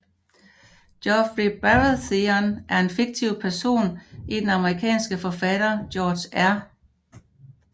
Joffrey Baratheon er en fiktiv person i den amerikanske forfatter George R